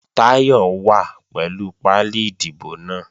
Táyọ̀ wà pẹ̀lú pálí ìdìbò náà